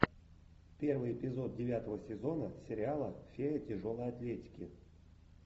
первый эпизод девятого сезона сериала фея тяжелой атлетики